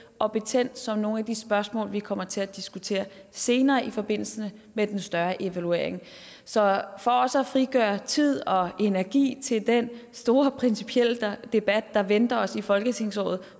og betændt som nogle af de spørgsmål vi kommer til at diskutere senere i forbindelse med den større evaluering så for også at frigøre tid og energi til den store principielle debat der venter os i folketingsåret